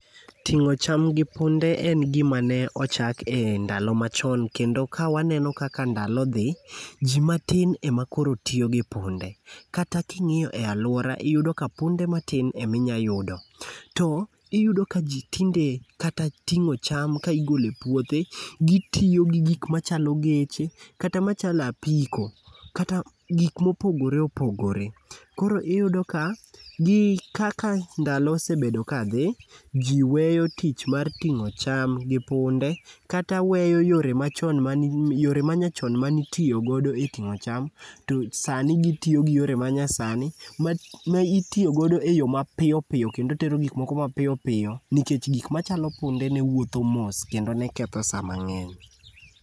Ting'o cham gi punde en gima ne ochak endalo machon, kendo ka waneno kaka ndalo dhi, ji matin ema koro tiyo gi punde kata king'iyo e aluora iyudo ka punde matin ema inyalo yudo. To iyudo ka ji tinde kata ting'o cham ka igolo e puothe, gitiyo gi gik machalo geche kata machalo apiko kata gik mopogore opogore. Koro iyudo ka gi kaka ndalo osebedo kadhi, ji weyo tich mar ting'o cham gi punde kata weyo yore manyachon mane itiyo godo e ting'o cham to sani gitiyo gi yore manyasani ma itiyo godo eyo mapiyo piyo kendo tero gik moko mapiyo piyo nikech gik machalo punde ne wuotho mos kendo ne ketho saa mang'eny.